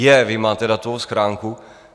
Jé, vy máte datovou schránku?